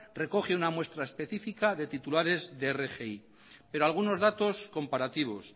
recoge una muestra específica de titulares de rgi pero algunos datos comparativos